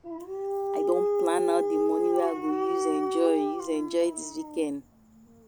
I don plan out the money wey I go use enjoy use enjoy dis weekend